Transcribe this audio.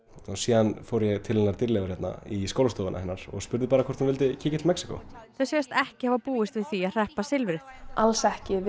síðan fór ég til hennar Dýrleifar hérna í skólastofuna hennar og spurði bara hvort hún vildi kíkja til Mexíkó þau segjast ekki hafa búist við því að hreppa silfrið alls ekki við